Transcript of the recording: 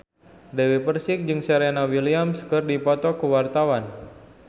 Dewi Persik jeung Serena Williams keur dipoto ku wartawan